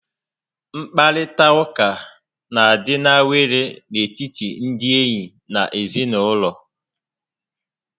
Nkparita ụka n'adị awele n'etiti ndị enyi na ezinaụlọ